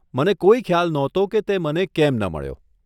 મને કોઈ ખ્યાલ નહોતો કે તે મને કેમ ન મળ્યો.